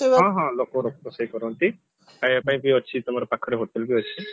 ହଁ ହଁ ଲୋକ ରୋଷେଇ କରନ୍ତି ଖାଇବା ପାଇଁ ବି ଅଛି ତମର ପାଖରେ hotel ବି ଅଛି